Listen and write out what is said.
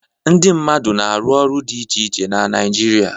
Ndị mmadụ na-arụ ọrụ dị iche iche na Naịjirịa.